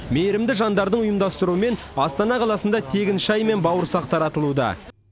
мейірімді жандардың ұйымдастыруымен астана қаласында тегін шай мен бауырсақ таратылуда